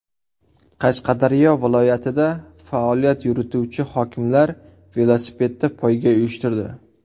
Qashqadaryo viloyatida faoliyat yurituvchi hokimlar velosipedda poyga uyushtirdi.